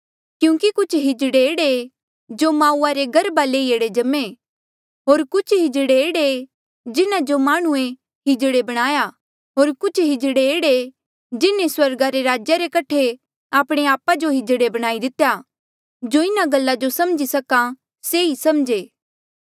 क्यूंकि कुछ नपुंसक एह्ड़े ऐें जो माऊआ रे गर्भा ले ई एह्ड़े जम्मे होर कुछ नपुंसक एह्ड़े ऐें जिन्हा जो माह्णुंऐ नपुंसक बणाया होर कुछ नपुंसक एह्ड़े ऐें जिन्हें स्वर्गा रे राज्या रे कठे आपणे आपा जो नपुंसक बणाई दितेया जो इन्हा गल्ला जो समझी सका से ही समझे